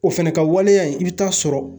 O fɛnɛ ka waleya in i bi taa sɔrɔ